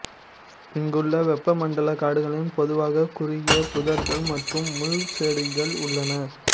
இங்குள்ள வெப்பமண்டல காடுகளில் பொதுவாக குறுகிய புதர்கள் மற்றும் முள் செடிகள் உள்ளன